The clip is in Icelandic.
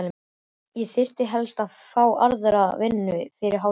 Ég þyrfti helst að fá aðra vinnu fyrir hádegi.